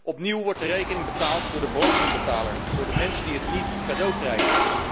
Opnieuw wordt de rekening betaald door de belastingbetaler, door de mensen die het niet cadeau krijgen.